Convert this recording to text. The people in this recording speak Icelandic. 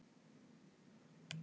Nei, ég vil ekki sofa hjá þér.